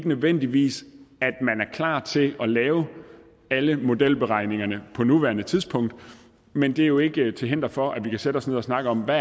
nødvendigvis er klar til at lave alle modelberegningerne på nuværende tidspunkt men det er jo ikke til hinder for at vi kan sætte os ned og snakke om hvad